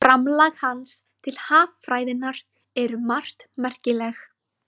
Framlag hans til haffræðinnar er um margt merkilegt.